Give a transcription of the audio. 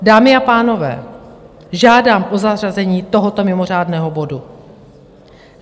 Dámy a pánové, žádám o zařazení tohoto mimořádného bodu.